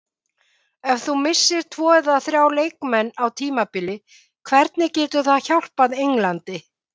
Ef þú missir tvo eða þrjá leikmenn á tímabili hvernig getur það hjálpað Englandi?